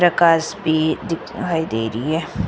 प्रकाश भी दिखाई देरी है।